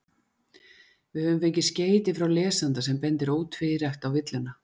Við höfum fengið skeyti frá lesanda sem bendir ótvírætt á villuna.